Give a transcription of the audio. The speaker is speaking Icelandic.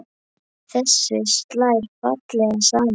Þessu slær fallega saman.